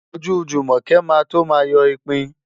Ojú Jùmọ̀kẹ́ máa tó máa yọ ipin.